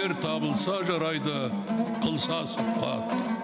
ер табылса жарайды қылса сұхбат